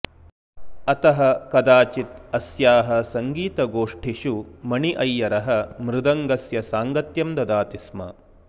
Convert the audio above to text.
अतः कदाचित् अस्याः सङ्गीतगोष्ठिषु मणि अय्यरः मृदङ्गस्य साङ्गत्यं ददाति स्म